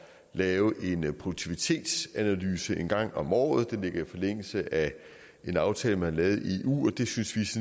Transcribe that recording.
lave en produktivitetsanalyse en gang om året det ligger i forlængelse af en aftale man har lavet i eu og det synes